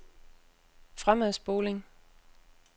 fremadspoling